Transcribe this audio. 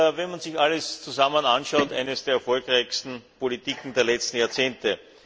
Wenn man sich alles zusammen anschaut, ist sie eine der erfolgreichsten Politiken der letzten Jahrzehnte.